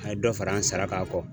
A ye dɔ fara an sara kan kɔ.